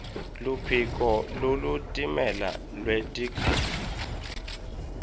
luphiko lolutimele lwetikhalo